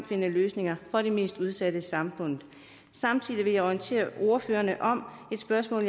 finde løsninger for de mest udsatte i samfundet samtidig vil jeg orientere ordførerne om et spørgsmål